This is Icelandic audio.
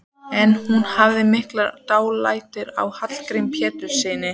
En hún hafði mikið dálæti á Hallgrími Péturssyni.